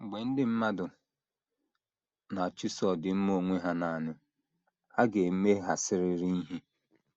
Mgbe ndị mmadụ na - achụso ọdịmma onwe ha nanị, ha ga - emeghasịrịrị ihe.